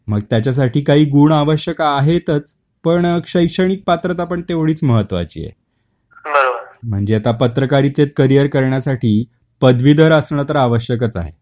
मग त्याच्या साठी काही गुण आवश्यक आहेतच. पण शैक्षणिक पात्रता पण तेवढीच महत्त्वाची आहे. म्हणजे आता पत्रकारितेत करिअर करण्यासाठी पदवीधर असण तर आवश्यकच आहे.